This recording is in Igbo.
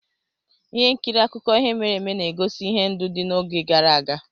Ihe nkiri akụkọ ihe mere eme na-egosi ihe ndụ dị n'oge gara aga